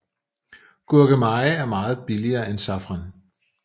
Gurkemeje er meget billigere end safran